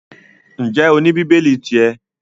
Ǹjẹ́ o ní bíbélì ti ẹ?